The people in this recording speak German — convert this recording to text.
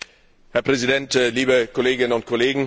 Herr Präsident, liebe Kolleginnen und Kollegen!